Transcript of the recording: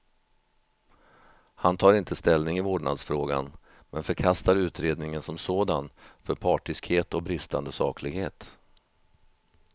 Han tar inte ställning i vårdnadsfrågan, men förkastar utredningen som sådan för partiskhet och bristande saklighet.